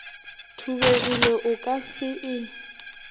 thubegile o ka se e